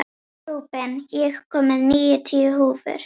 Rúben, ég kom með níutíu húfur!